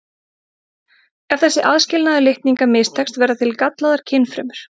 Ef þessi aðskilnaður litninga mistekst verða til gallaðar kynfrumur.